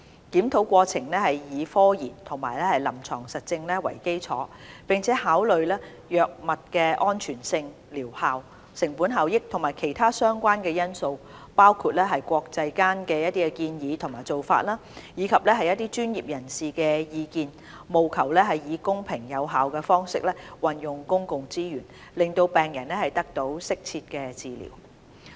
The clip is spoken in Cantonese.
檢討過程以科研和臨床實證為基礎，並考慮藥物的安全性、療效、成本效益和其他相關因素，包括國際間的建議和做法，以及專業人士的意見，務求以公平有效的方式運用公共資源，讓病人得到適切的治療。